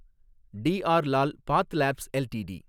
TR Lal PathLabs LTD